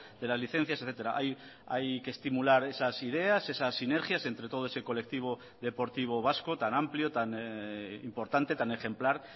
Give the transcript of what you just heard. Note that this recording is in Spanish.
de las licencias etcétera hay que estimular esas ideas esas sinergias entre todo ese colectivo deportivo vasco tan amplio tan importante tan ejemplar